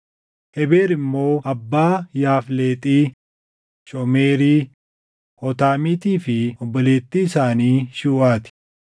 Hebeer immoo abbaa Yaafleexii, Shomeerii, Hootaamiitii fi obboleettii isaanii Shuuʼaa ti.